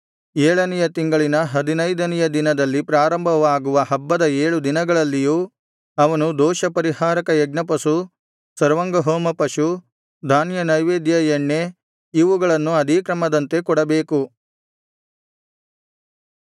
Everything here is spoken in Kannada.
ಏಳನೆಯ ತಿಂಗಳಿನ ಹದಿನೈದನೆಯ ದಿನದಲ್ಲಿ ಪ್ರಾರಂಭವಾಗುವ ಹಬ್ಬದ ಏಳು ದಿನಗಳಲ್ಲಿಯೂ ಅವನು ದೋಷಪರಿಹಾರಕ ಯಜ್ಞಪಶು ಸರ್ವಾಂಗಹೋಮ ಪಶು ಧಾನ್ಯನೈವೇದ್ಯ ಎಣ್ಣೆ ಇವುಗಳನ್ನು ಅದೇ ಕ್ರಮದಂತೆ ಕೊಡಬೇಕು